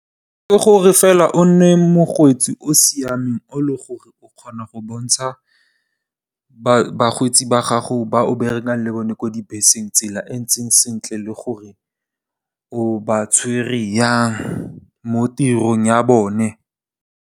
Ke gore fela o nne mokgweetsi o siameng, o leng gore o kgona go bontsha bakgweetsi ba gago ba o berekang le bone ko dibeseng tsela e ntseng sentle le gore o ba tshwere yang mo tirong ya bone.